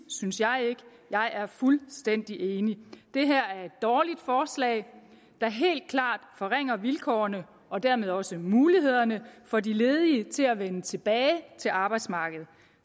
synes jeg ikke jeg er fuldstændig enig det her er et dårligt forslag der helt klart forringer vilkårene og dermed også mulighederne for de ledige til at vende tilbage til arbejdsmarkedet